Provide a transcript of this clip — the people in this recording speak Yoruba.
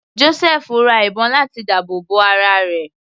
Josẹfu ra ìbọn láti dáàbò bo ara rẹ̀.